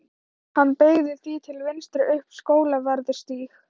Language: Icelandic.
Hann beygði því til vinstri upp Skólavörðustíg.